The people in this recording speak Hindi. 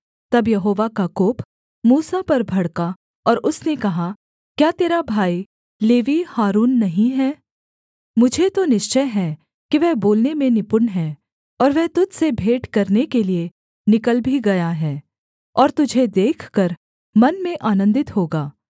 तब यहोवा का कोप मूसा पर भड़का और उसने कहा क्या तेरा भाई लेवीय हारून नहीं है मुझे तो निश्चय है कि वह बोलने में निपुण है और वह तुझ से भेंट करने के लिये निकल भी गया है और तुझे देखकर मन में आनन्दित होगा